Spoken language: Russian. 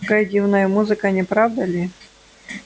какая дивная музыка не правда ли